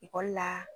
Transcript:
Ekɔli la